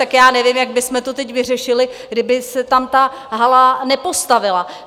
Tak já nevím, jak bychom to teď vyřešili, kdyby se tam ta hala nepostavila.